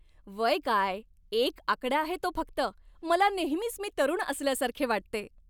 वय काय, एक आकडा आहे तो फक्त. मला नेहमीच मी तरुण असल्यासारखे वाटते.